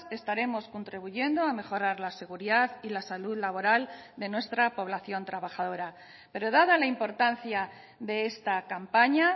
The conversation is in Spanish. estaremos contribuyendo a mejorar la seguridad y la salud laboral de nuestra población trabajadora pero dada la importancia de esta campaña